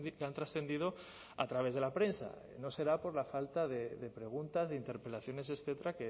que han trascendido a través de la prensa no será por la falta de preguntas de interpelaciones etcétera